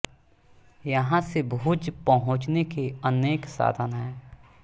यहाँ से भुज पहुंचने के अनेक साधन हैं